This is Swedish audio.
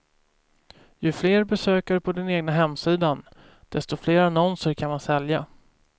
Ju fler besökare på den egna hemsidan, desto fler annonser kan man sälja.